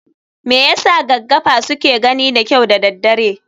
Me yasa gaggafa suke gani da kyau da daddare?